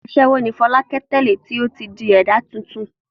Aṣẹ́wó ni Fọlákẹ́ tẹ́lẹ̀ tí ó ti di ẹ̀dá tuntun.